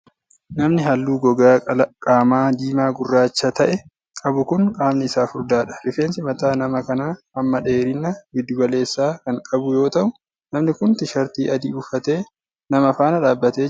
Namni haalluu gogaa qaamaa diimaa gurraacha ta'e qabu kun qaamni isaa furdaa dha. Rifeensi mataa nama kanaa hamma dheerinaa giddu galeessa kan qabu yoo ta'u, namni kun Tiishartii adii uffatee nama faana dhaabbatee jira.